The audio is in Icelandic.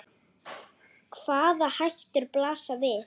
Hvaða hættur blasa við?